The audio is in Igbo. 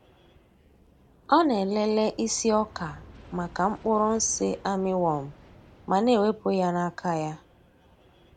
Ọ na-elele isi oka maka mkpụrụ nsị armyworm ma na-ewepu ya n'aka ya.